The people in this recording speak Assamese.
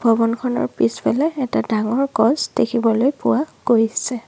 ভৱনখনৰ পিছফালে এটা ডাঙৰ গছ দেখিবলৈ পোৱা গৈছে।